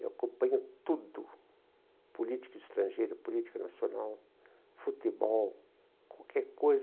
Eu acompanho tudo, política estrangeira, política nacional, futebol, qualquer coisa